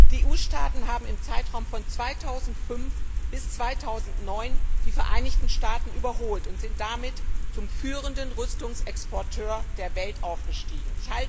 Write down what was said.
Die EU Staaten haben im Zeitraum von 2005 bis 2009 die Vereinigten Staaten überholt und sind damit zum führenden Rüstungsexporteur der Welt aufgestiegen.